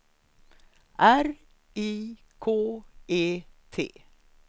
R I K E T